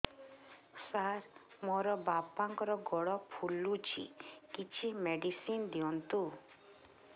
ସାର ମୋର ବାପାଙ୍କର ଗୋଡ ଫୁଲୁଛି କିଛି ମେଡିସିନ ଦିଅନ୍ତୁ